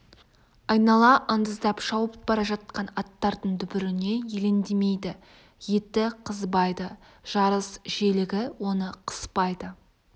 айнала андыздап шауып бара жатқан аттардың дүбіріне елеңдемейді еті қызбайды жарыс желігі оны қыспайды